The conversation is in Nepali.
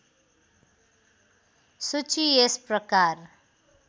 सूची यस प्रकार